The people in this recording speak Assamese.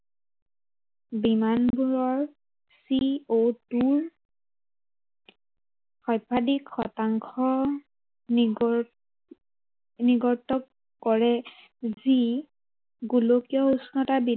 বিমানবোৰৰ CO two ৰ সৰ্বাধিক শতাংশ, নিগৰি নিগৰিত কৰে, যি গোলকীয় উষ্ণতা